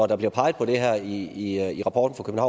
der bliver peget på det her i rapporten